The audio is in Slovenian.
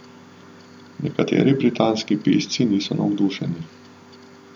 Nekateri britanski pisci niso navdušeni.